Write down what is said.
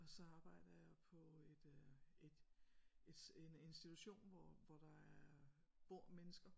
Og så arbejder jeg på et et en en institution hvor hvor der er bor mennesker